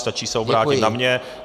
Stačí se obrátit na mě.